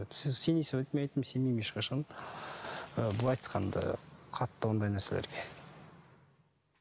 сіз сенесіз бе деді мен айттым сенбеймін ешқашан ы былай айтқанда қатты ондай нәрселерге